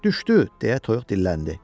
Düşdü, deyə toyuq dilləndi.